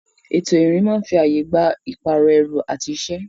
Ètò ìrìn máa ń fi ààyè gba ìpààrọ̀ ẹrù àti iṣẹ́.